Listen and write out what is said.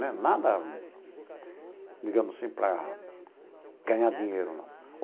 Né nada, digamos assim, para ganhar dinheiro, não.